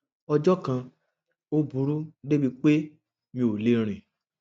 ọjọ kan ó burú débi pé mi ò lè rìn